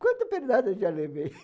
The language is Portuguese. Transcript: Quanta pernada já levei?